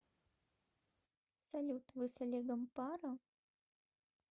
салют вы с олегом пара